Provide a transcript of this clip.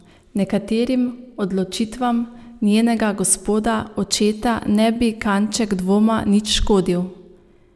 Nekaterim odločitvam njenega gospoda očeta ne bi kanček dvoma nič škodil.